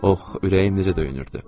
Ox, ürəyim necə döyünürdü.